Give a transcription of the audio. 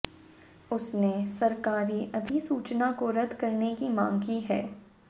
उसने सरकारी अधिसूचना को रद्द करने की मांग की है